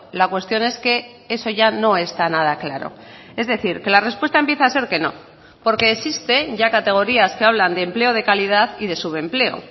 la cuestión es que eso ya no está nada claro es decir que la respuesta empieza a ser que no porque existen ya categorías que hablan de empleo de calidad y de subempleo